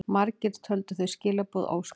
Margir töldu þau skilaboð óskýr.